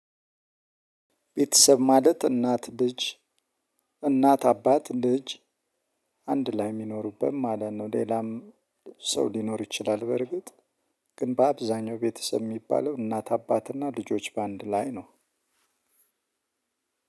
ቤተሰብ ማለት እናት ልጅ እናት አባት ልጅ አንድ ላይ የሚኖሩበት ማለት ነው። ሌላም ሰው ሊኖር ይችላል በርግጥ ግን በአብዛኛው ቤተሰብ የሚባለው እናት አባትና ልጆች በአንድ ላይ ነው።